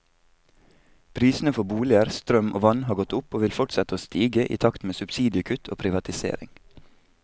Prisene for boliger, strøm og vann har gått opp, og vil fortsette å stige i takt med subsidiekutt og privatisering.